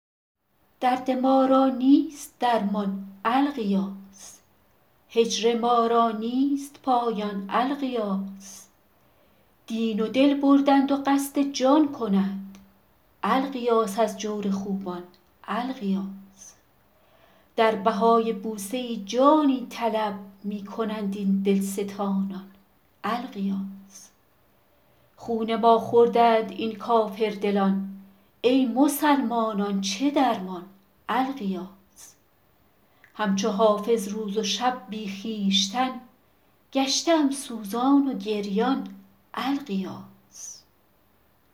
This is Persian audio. درد ما را نیست درمان الغیاث هجر ما را نیست پایان الغیاث دین و دل بردند و قصد جان کنند الغیاث از جور خوبان الغیاث در بهای بوسه ای جانی طلب می کنند این دلستانان الغیاث خون ما خوردند این کافردلان ای مسلمانان چه درمان الغیاث هم چو حافظ روز و شب بی خویشتن گشته ام سوزان و گریان الغیاث